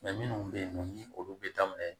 minnu bɛ yen nɔ ni olu bɛ daminɛ